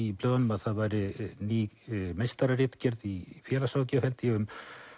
í blöðunum að það væri ný meistararitgerð í félagsráðgjöf held ég um